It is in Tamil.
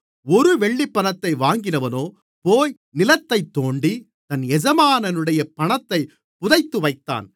ஒரு வெள்ளிப்பணத்தை வாங்கினவனோ போய் நிலத்தைத் தோண்டி தன் எஜமானுடைய பணத்தைப் புதைத்துவைத்தான்